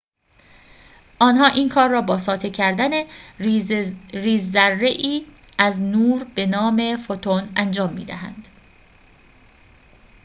آنها این کار را با ساطع کردن ریزذره‌ای از نور به نام فوتون انجام می‌دهند